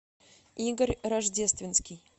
игорь рождественский